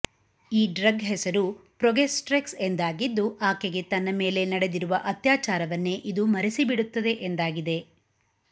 ಈ ಡ್ರಗ್ ಹೆಸರು ಪ್ರೊಗೆಸ್ಟ್ರೆಕ್ಸ್ ಎಂದಾಗಿದ್ದು ಆಕೆಗೆ ತನ್ನ ಮೇಲೆ ನಡೆದಿರುವ ಅತ್ಯಾಚಾರವನ್ನೇ ಇದು ಮರೆಸಿ ಬಿಡುತ್ತದೆ ಎಂದಾಗಿದೆ